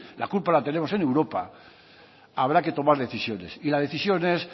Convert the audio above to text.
la culpa la tenemos en europa habrá que tomar decisiones y la decisión es